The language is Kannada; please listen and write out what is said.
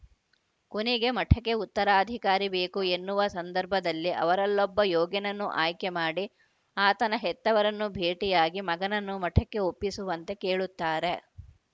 ಕೊನೆಗೆ ಮಠಕ್ಕೆ ಉತ್ತರಾಧಿಕಾರಿ ಬೇಕು ಎನ್ನುವ ಸಂದರ್ಭದಲ್ಲಿ ಅವರಲ್ಲೊಬ್ಬ ಯೋಗ್ಯನನ್ನು ಆಯ್ಕೆ ಮಾಡಿ ಆತನ ಹೆತ್ತವರನ್ನು ಭೇಟಿಯಾಗಿ ಮಗನನ್ನು ಮಠಕ್ಕೆ ಒಪ್ಪಿಸುವಂತೆ ಕೇಳುತ್ತಾರೆ